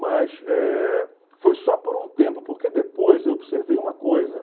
Mas eh foi só por um tempo, porque depois eu observei uma coisa.